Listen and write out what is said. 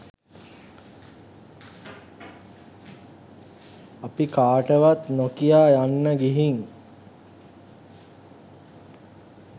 අපි කාටවත් නොකියා යන්න ගිහින්.